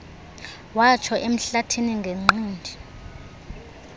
yatsho emhlathini ngenqindi